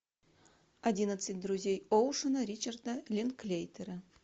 одиннадцать друзей оушена ричарда линклейтера